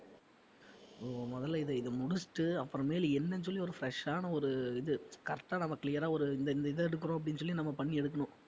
ஹம் முதல்ல இத இத முடிச்சிட்டு அப்புறம் மேலு என்னன்னு சொல்லி ஒரு fresh ஆன ஒரு இது correct ஆ நம்ம clear ஆ ஒரு இந்த இது எடுக்கிறோம்ன்னு அப்படின்னு சொல்லி நம்ம பண்ணி எடுக்கணும்